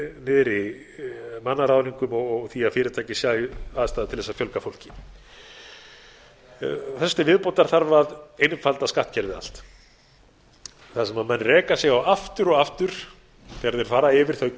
niðri mannaráðningum og því að fyrirtæki sæju aðstæðum til að fjölga fólki þessu til viðbótar þarf að einfalda skattkerfið allt þar sem menn reka sig á aftur og aftur þegar þeir fara yfir þau